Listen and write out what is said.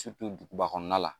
duguba kɔnɔna la